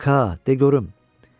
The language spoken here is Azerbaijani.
İndi Ka, de görüm,